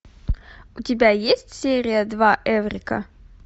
у тебя есть серия два эврика